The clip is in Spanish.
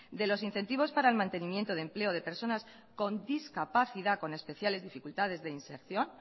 de los incentivos para el mantenimiento de empleo de personas con discapacidad con especiales dificultades de inserción